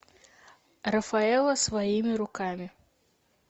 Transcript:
рафаэлло своими руками